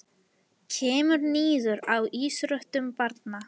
Kemur niður á íþróttum barna